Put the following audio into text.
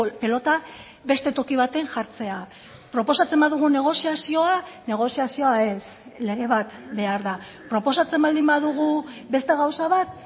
pilota beste toki baten jartzea proposatzen badugu negoziazioa negoziazioa ez lege bat behar da proposatzen baldin badugu beste gauza bat